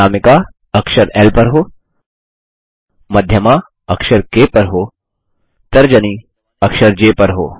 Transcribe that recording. अनामिका अक्षर ल पर हो मध्यमा अक्षर क पर हो तर्जनी अक्षर ज पर हो